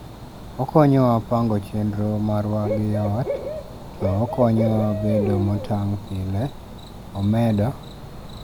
okonyowa pango chenro marwa gi yoot to okonyowa bedo motang' pile' omedo